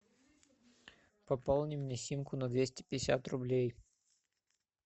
пополни мне симку на двести пятьдесят рублей